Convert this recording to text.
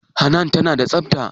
Hanan tana da tsafta?